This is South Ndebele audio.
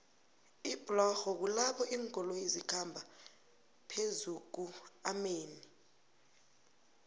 iblorho kulapho linkoloyo zikhamba phezukuomanei